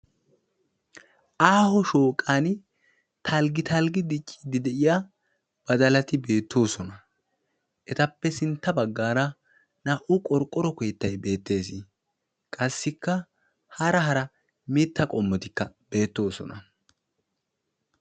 Aaho shooqan talggitalggi dicciiddi de'iya badalati beettoosona. Etappe sintta baggaara naa''u qorqqoro keettay beettees. Qassikka hara hara mitta qommotikka beettoosona.